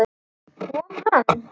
Kom hann?